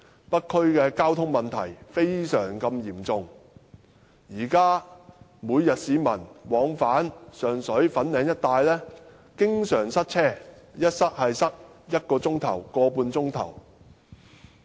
北區的交通問題非常嚴重，現時市民每天往返上水和粉嶺一帶經常遇到塞車，一旦塞車便是1小時至1小時半。